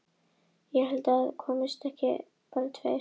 Ég held að það hafi aldrei komist upp hver eða hverjir voru sekir.